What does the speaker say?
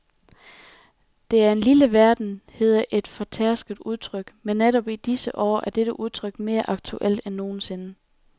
Det er en lille verden, hedder et fortærsket udtryk, men netop i disse år er dette udtryk mere aktuelt end nogensinde.